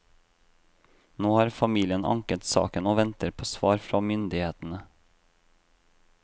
Nå har familien anket saken, og venter på svar fra myndighetene.